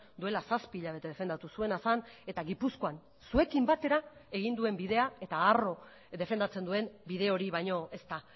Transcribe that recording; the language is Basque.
duela zazpi hilabete defendatu zuena zen eta gipuzkoan zuekin batera egin duen bidea eta harro defendatzen duen bide hori baino ez da